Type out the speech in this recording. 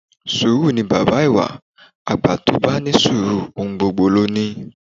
Sùúrù ni baba ìwà, àgbà tó bá ní sùúrù ohun gbogbo ló ní